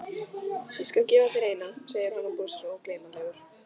Ég skal gefa þér eina, segir hann og brosir ógleymanlegur.